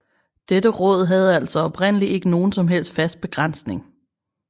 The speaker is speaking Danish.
Dette råd havde altså oprindelig ikke nogen som helst fast begrænsning